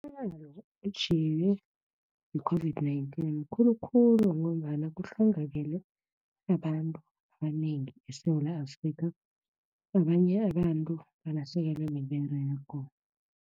Umonakalo otjhiywe yi-COVID-19 mkhulu khulu, ngombana kuhlongakele abantu abanengi eSewula Afrika. Abanye abantu balahlekelwe miberego.